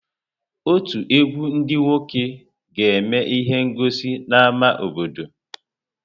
Ọtù egwu ndị nwoke ga-eme ihe ngọsi n'ámá obodo.